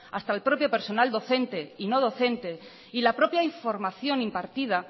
hasta el propio personal docente y no docente y la propia información impartida